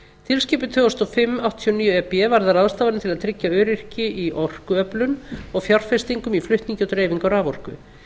tilskipun tvö þúsund og fimm áttatíu og níu e b varðar ráðstafanir til að tryggja öryggi í orkuöflun og fjárfestingum í flutningi og dreifingu á raforku